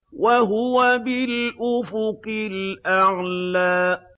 وَهُوَ بِالْأُفُقِ الْأَعْلَىٰ